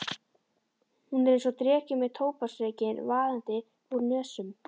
Hún er einsog dreki með tóbaksreykinn vaðandi út úr nösunum.